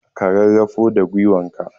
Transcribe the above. Ka rarafo da gwiwanka